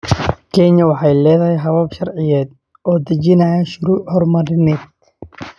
Kenya waxay leedahay habab sharciyeed oo dejinaya shuruuc horumarineed.